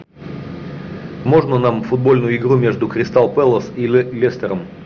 можно нам футбольную игру между кристал пэлас и лестером